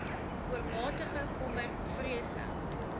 oormatige kommer vrese